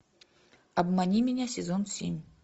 обмани меня сезон семь